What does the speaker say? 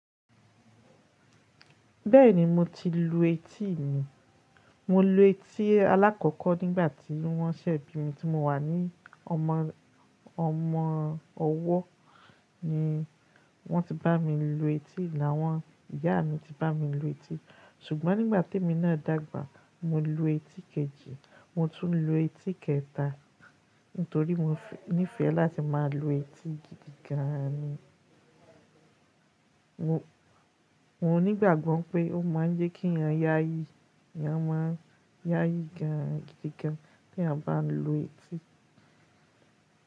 Bẹ́ẹ̀ni mo ti lu etí mi, mo lu etí alákọ̀ọ́kọ́ nígbà tí wọ́n ṣe bi mi tí mo wà ní ọmọ ọmọ ọwọ́, ni wọ́n ti bá mi lu etí, làwọn ìyá mi ti bá mi lu etí. Ṣùgbọ́n nígbà tí mí náà dàgbà mo lu etí kejì, mo tún lu etí kẹta nítorí mo nífẹ̀ẹ́ láti má a lu etí gidi gan ni. Mo nígbàgbọ́ pé ó má a ń jẹ́ kí èèyàn yááyí, èèyàn má a ń yááyí gan an gidi gan tí a bá lu etí.